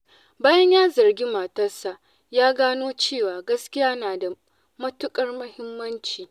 Bayan ya zargi matarsa, ya gano cewa gaskiya na da matuƙar muhimmanci.